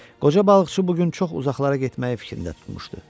Qoca balıqçı bu gün çox uzaqlara getməyi fikrində tutmuşdu.